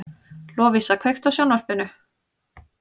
Lovísa, kveiktu á sjónvarpinu.